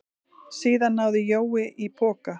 Síðan náði Jói í poka.